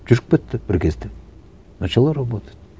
жүріп кетті бір кезде начало работать